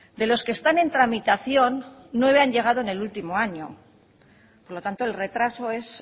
de los que están en tramitación nueve han llegado en el último año por lo tanto el retraso es